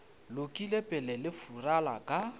lokile pele le fulara ka